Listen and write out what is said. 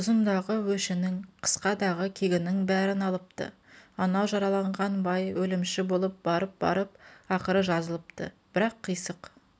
ұзындағы өшінің қысқадағы кегінің бәрін алыпты анау жараланған бай өлімші болып барып-барып ақыры жазылыпты бірақ қисық